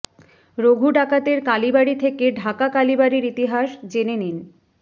রঘু ডাকাতের কালীবাড়ি থেকে ঢাকা কালীবাড়ির ইতিহাস জেনে নিন